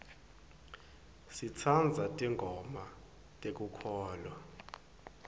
sitsandza tingoma tekukholwa